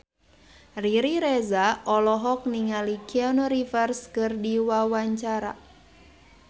Riri Reza olohok ningali Keanu Reeves keur diwawancara